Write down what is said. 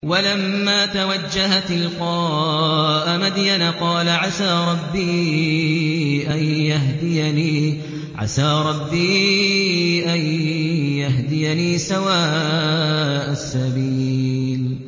وَلَمَّا تَوَجَّهَ تِلْقَاءَ مَدْيَنَ قَالَ عَسَىٰ رَبِّي أَن يَهْدِيَنِي سَوَاءَ السَّبِيلِ